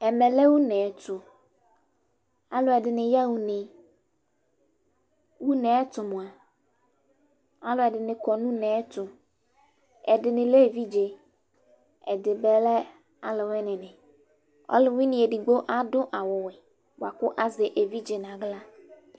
Ɛmɛ lɛ une tʋ Alʋɛdɩnɩ yaɣa une Une yɛ tʋ mʋa, alʋɛdɩnɩ kɔ nʋ une yɛ tʋ Ɛdɩnɩ lɛ evidze, ɛdɩ bɩ lɛ alʋwɩnɩnɩ Ɔlʋwɩnɩ edigbo adʋ awʋwɛ bʋa kʋ azɛ evidze nʋ aɣla